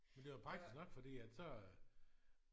Men det var praktisk nok fordi at så